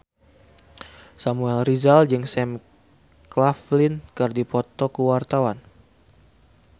Samuel Rizal jeung Sam Claflin keur dipoto ku wartawan